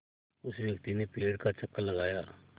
उस व्यक्ति ने पेड़ का चक्कर लगाया